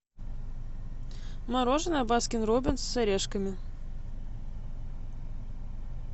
мороженое баскин роббинс с орешками